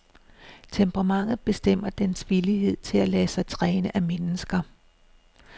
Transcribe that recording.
Temperamentet bestemmer dens villighed til at lade sig træne af mennesker.